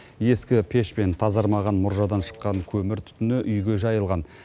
ескі пеш пен тазармаған мұржадан шыққан көмір түтіні үйге жайылған